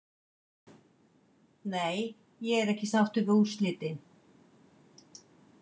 Nei ég er ekki sáttur við úrslitin.